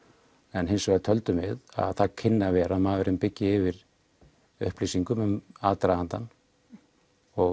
en hins vegar töldum við að það kynni að vera að maðurinn byggi yfir upplýsingum um aðdragandann og